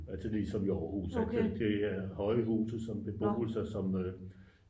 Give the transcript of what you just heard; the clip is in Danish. er til dels som i aarhus det er høje huse som beboelse som